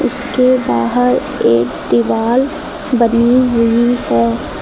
उसके बाहर एक दिवाल बनी हुई है।